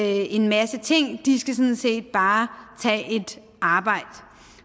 en masse ting de skal sådan set bare tage et arbejde